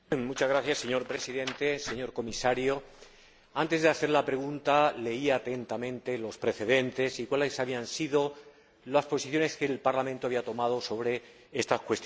Señor Presidente, señor Comisario, antes de hacer la pregunta leí atentamente los precedentes y cuáles habían sido las posiciones que el Parlamento había tomado sobre estas cuestiones.